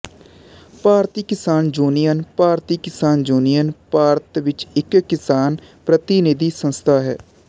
ਭਾਰਤੀ Kisan union Bharatiya Kisan union Bharat ਵਿਚ ਇਕ ਕਿਸਾਨ ਪ੍ਰਤੀਨਿਧੀ ਸੰਸਥਾ ਹੈ